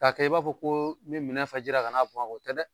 Ka kɛ i b'a fɔ ko i bi minɛ fa jira ka n'a bɔn a kan o tɛ dɛ!